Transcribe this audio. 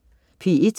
P1: